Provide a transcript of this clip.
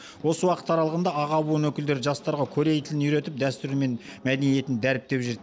осы уақыт аралығында аға буын өкілдері жастарға корей тілін үйретіп дәстүрі мен мәдениетін дәріптеп жүр